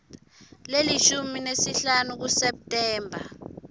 lelishumi nesihlanu kuseptemba